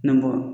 Na bɔ